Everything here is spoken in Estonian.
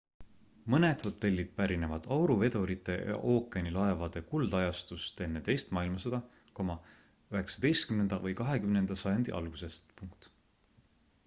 mõned hotellid pärinevad auruvedurite ja ookeanilaevade kuldajastust enne teist maailmasõda 19 või 20 sajandi algusest